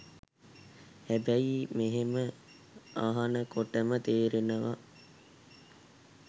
හැබැයි මෙහෙම අහනකොටම තේරෙනවා